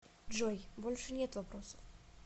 джой больше нет вопросов